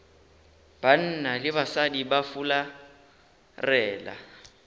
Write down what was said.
banna le basadi ba fularela